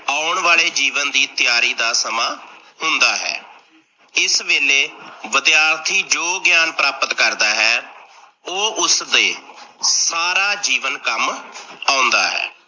ਆਉਣ ਵਾਲੇ ਜੀਵਨ ਦੀ ਤੀਆਰੀ ਦਾ ਸਮਾਂ ਹੁੰਦਾ ਹੈ, ਇਸ ਵੇਲੇ ਵਿਦਿਆਰਥੀ ਜੋ ਗਿਆਨ ਪ੍ਰਾਪਤ ਕਰਦਾ ਹੈ, ਓਹ ਉਸਦੇ ਸਾਰਾ ਜੀਵਨ ਕੰਮ ਆਉਂਦਾ ਹੈ।